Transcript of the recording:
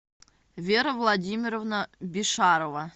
вера владимировна бишарова